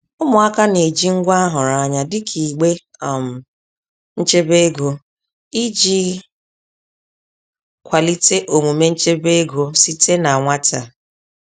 Ụmụaka na-eji ngwa a hụrụ anya dịka igbe um nchebe ego iji kwalite omume nchebe ego site na nwata.